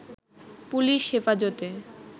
police Hefazate